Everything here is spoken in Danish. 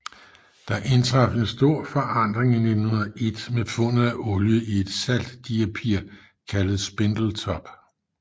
Der indtraf en stor forandring i 1901 med fundet af olie i et saltdiapir kaldet Spindletop